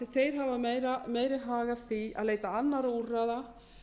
þeir hafa meiri hag af því að leita annarra úrræða